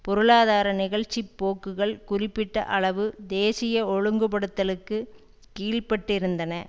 பொருளாதார நிகழ்ச்சி போக்குகள் குறிப்பிட்ட அளவு தேசிய ஒழுங்குபடுத்தலுக்கு கீழ்ப்பட்டிருந்தன